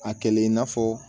A kɛlen i n'a fɔ